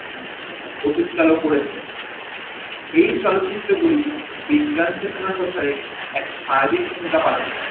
অনুষ্ঠান ও করেছেন, এই চলচিত্র গুল বিজ্ঞান চেতনার কথাই এক সার্বিক ভুমিকা পালন করে